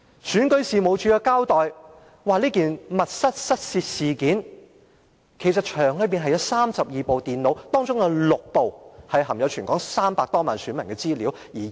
選舉事務處指出，在這宗密室失竊事件中，當時場內共有32部電腦，其中6部含有全港300多萬名選民的資料。